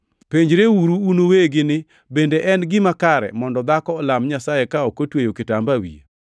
Penjreuru un uwegi ni: Bende en gima kare mondo dhako olam Nyasaye ka ok otweyo kitamba e wiye?